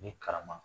Ni karama